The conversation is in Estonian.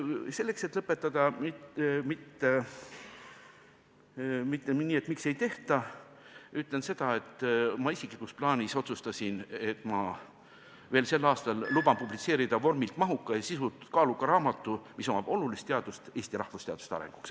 Selleks et mitte lõpetada küsimusega, miks midagi ei tehta, ütlen seda, et ma isiklikus plaanis otsustasin, et ma veel sel aastal publitseerin vormilt mahuka ja sisult kaaluka raamatu, mis annab ehk olulise panuse Eesti rahvusteaduste arenguks.